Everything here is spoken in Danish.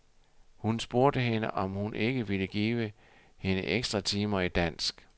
Hun spurgte hende, om hun ikke ville give hende ekstratimer i dansk.